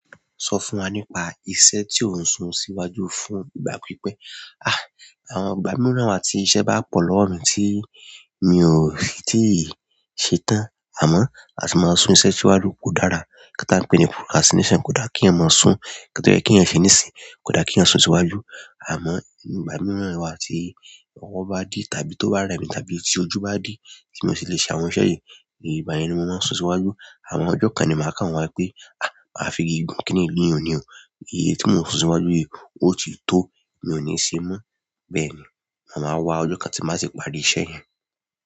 Sọ fún wa nípa iṣẹ́ tí ò ń sun síwájú fún ìgbà pípẹ́. À, àwọn ìgbà mìíràn wà tí iṣẹ́ bá pò lọ́wọ́ mi ti mi o tíì ṣe tán. Àmọ́, a sì máa sun iṣẹ́ síwájú kódára. Nǹkan tí a ń pè ní procrastination kódá kí ẹeyan má sún, nǹkan tó jẹ́ kí ẹeyàn ṣe níìsín, kódá kí ẹeyàn sun síwájú. Àmọ́, ìgbà mìíràn wà tí ọwọ́ bá dí tàbí tó bá rẹmi tàbí tí ojú bá dí tí mo sì le ṣe àwọn iṣẹ́ yìí. Ìgbà yẹn ni mo máa ń sun síwájú. Àmọ́ ọjọ́ kan ni màá kà wọ́n wípé, à, máa fi igi gún kínní yìí ni òní o. Èyí ti mo ń sun síwájú yìí, o ti to, mi o ni ṣe mọ. Bẹ́ẹ̀ ni, ma máa wá ọjọ́ kan tí màá sì parí iṣẹ́ yẹn.